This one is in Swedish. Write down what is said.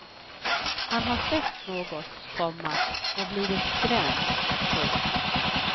Han har sett något, komma och blivit skrämd. punkt